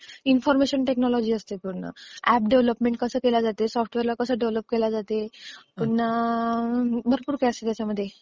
Information technology असते पूर्ण. App development कसं केलं जाते, सॉफ्टवेअर ला कसं डेव्हलप केलं जाते, पुन्हा भरपूर काही असतं ह्यांच्यामध्ये.